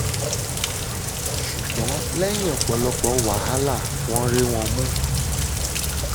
ṣùgbọ́n lẹ́yìn ọ̀pọ̀lọpọ̀ wàhálà wọn rí wọn mú